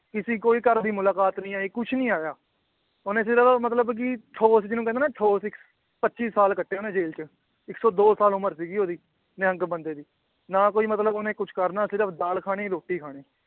ਕਿਸੇ ਕੋਈ ਘਰ ਦੀ ਮੁਲਾਕਾਤ ਨੀ ਆਈ ਕੁਛ ਨੀ ਆਇਆ ਉਹਨੇ ਸਿਰਫ਼ ਮਤਲਬ ਕਿ ਠੋਸ ਜਿਹਨੂੰ ਕਹਿੰਦੇ ਨਾ ਠੋਸ ਇੱਕ ਪੱਚੀ ਸਾਲ ਕੱਟੇ ਉਹਨੇ ਜੇਲ੍ਹ ਚ, ਇੱਕ ਸੌ ਦੋ ਸਾਲ ਉਮਰ ਸੀਗੀ ਉਹਦੀ ਨਿਹੰਗ ਬੰਦੇ ਦੀ, ਨਾ ਕੋਈ ਮਤਲਬ ਉਹਨੇ ਕੁਛ ਕਰਨਾ ਸਿਰਫ਼ ਦਾਲ ਖਾਣੀ ਰੋਟੀ ਖਾਣੀ